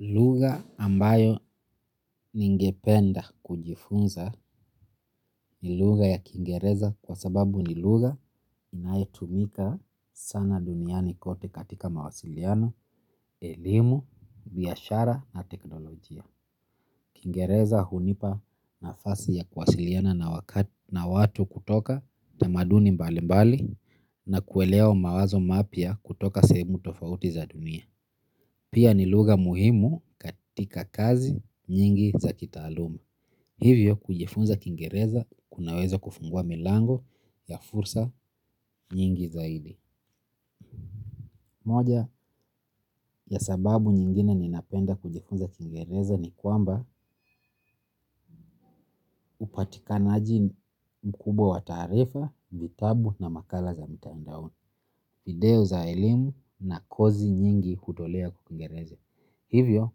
Lugha ambayo ningependa kujifunza ni lugha ya kiingereza kwa sababu ni lugha inaye tumika sana duniani kote katika mawasiliano, elimu, biashara na teknolojia. Kingereza hunipa nafasi ya kuwasiliana na watu kutoka tamaduni mbali mbali na kuelewa umawazo mapya kutoka sehemu tofauti za dunia. Pia ni lugha muhimu katika kazi nyingi za kitaaluma. Hivyo kujifunza kingereza kunaweza kufungua milango ya fursa nyingi zaidi. Moja ya sababu nyingine ninapenda kujifunza kingereza ni kwamba upatikanaji mkubwa wa taarifa, vitabu na makala za mitandaoni. Video za ilimu na kosi nyingi hudolea kwa kingereza. Hivyo,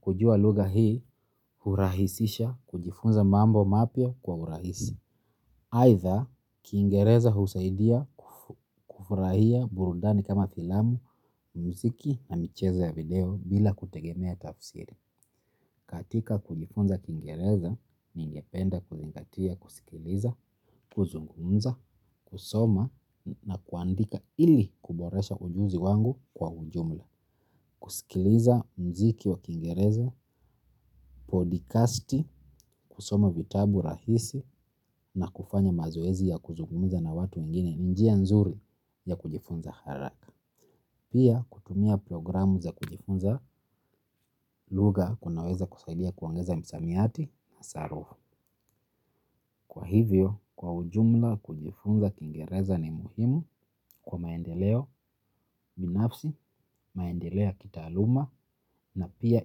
kujua lugha hii hurahisisha kujifunza mambo mapya kwa hurahisi. Aidha, kingereza husaidia kufurahia burundani kama filamu, muziki na micheza ya video bila kutegemea tafsiri. Katika kujifunza kingereza, ningependa kuzingatia, kusikiliza, kuzungumza, kusoma na kuandika ili kuboresha ujuzi wangu kwa ujumla. Kusikiliza mziki wa kingereza, podcasti, kusoma vitabu rahisi na kufanya mazoezi ya kuzungumza na watu wengini ni njia nzuri ya kujifunza haraka. Pia kutumia programu za kujifunza lugha kunaweza kusadia kuongeza msamiati na kwa hivyo, kwa ujumla kujifunza kingereza ni muhimu kwa maendeleo binafsi maendeleo ya kitaaluma na pia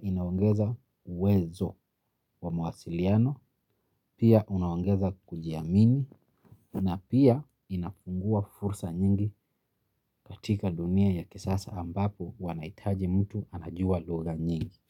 inaongeza uwezo wa mawasiliano, pia unaongeza kujiamini na pia inafungua fursa nyingi katika dunia ya kisasa ambapo wanahitaji mtu anajua lugha nyingi.